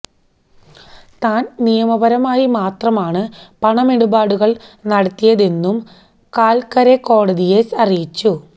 താന് നിയമപരമായി മാത്രമാണ് പണമിടപാടുകള് നടത്തിയെതെന്നും കാല്ക്കരെ കോടതിയെ അറിയിച്ചു